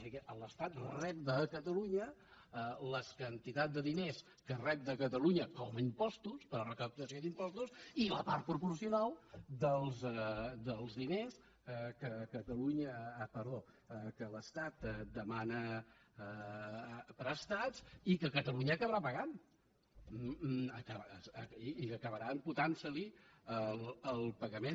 així que l’estat rep de catalunya les quantitats de diners que rep de catalunya com a impostos per la recaptació d’impostos i la part proporcional dels di·ners que l’estat demana prestats i que catalunya aca·barà pagant i que acabarà imputant·se·li el pagament